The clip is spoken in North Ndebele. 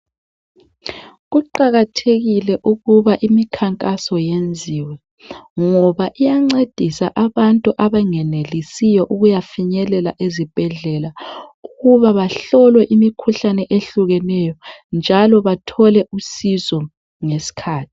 Kuqakathekile ukuba imikhankaso yenziwe ngoba iyancedisa abantu abangenelisiyo ukuyafinyelela ezibhedlela ukuba bahlolwe imikhuhlane ehlukeneyo njalo bathole usizo ngesikhathi.